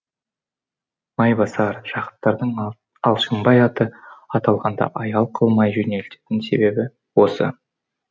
майбасар жақыптардың алшынбай аты аталғанда аял қылмай жөнелетін себебі осы